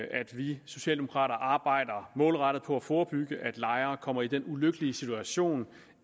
vi socialdemokrater arbejder målrettet på at forebygge at lejere kommer i den ulykkelige situation